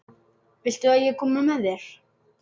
Viltu að ég komi með þér?